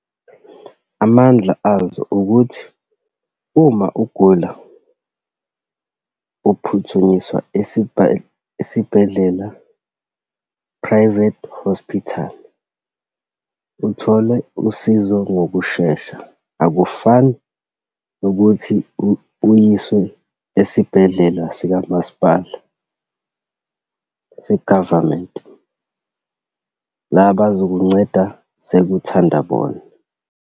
Amandla azo ukuthi, uma ugula uphuthunyiswa esibhedlela, private hospital, uthole usizo ngokushesha. Akufani nokuthi uyiswe esibhedlela sikamasipala, se-government, la bazokunceda sekuthanda bona.